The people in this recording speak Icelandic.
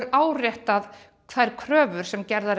áréttar kröfur sem gerðar